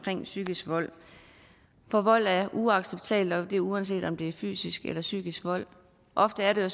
psykisk vold for vold er uacceptabelt og det er uanset om det er fysisk eller psykisk vold ofte er det jo